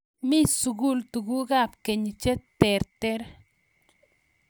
mii sukul tukukab keny che terter